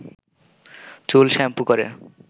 চুল শ্যাম্পু করে